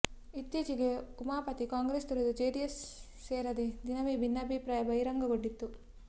ಇತ್ತೀಚೆಗೆ ಉಮಾಪತಿ ಕಾಂಗ್ರೆಸ್ ತೊರೆದು ಜೆಡಿಎಸ್ ಸೇರಿದ ದಿನವೇ ಭಿನ್ನಾಭಿಪ್ರಾಯ ಬಹಿರಂಗೊಂಡಿತ್ತು